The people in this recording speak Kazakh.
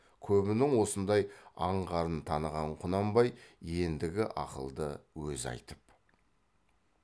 көбінің осындай аңғарын таныған құнанбай еңдігі ақылды өзі айтып